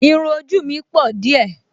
Irún ojú mi pọ̀ díẹ̀